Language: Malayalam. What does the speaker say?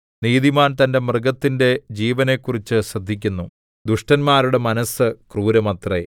നീതിമാൻ തന്റെ മൃഗത്തിന്റെ ജീവനെക്കുറിച്ച് ശ്രദ്ധിയ്ക്കുന്നു ദുഷ്ടന്മാരുടെ മനസ്സ് ക്രൂരമത്രെ